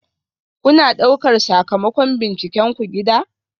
Kuna ɗaukar sakamakon bincikenku gida?